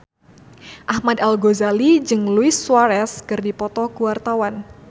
Ahmad Al-Ghazali jeung Luis Suarez keur dipoto ku wartawan